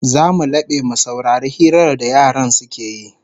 Zamu labe mu saurari hirar da yaran suke yi